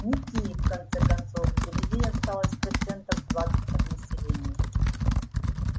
не киев в конце концов где людей осталось процентов двадцать от населения